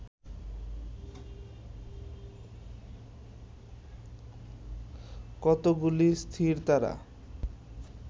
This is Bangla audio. কতকগুলি স্থিরতারা